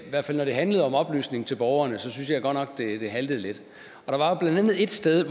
hvert fald når det handlede om oplysning til borgerne synes jeg godt nok det haltede lidt der var jo blandt andet ét sted